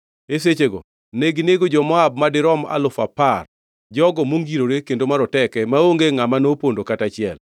E sechego neginego jo-Moab madirom alufu apar, jogo mongirore kendo maroteke; maonge ngʼama nopondo kata achiel.